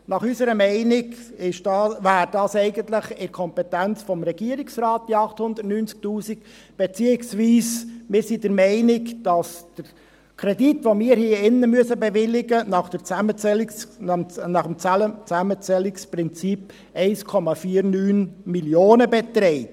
Nach unserer Meinung wären diese 890 000 Franken eigentlich in der Kompetenz des Regierungsrats, beziehungsweise wir sind der Meinung, dass der Kredit, den wir hier bewilligen müssen, nach dem Zusammenzählungsprinzip 1,49 Mio. Franken beträgt.